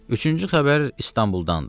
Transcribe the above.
Üçüncü xəbər İstanbuldandır.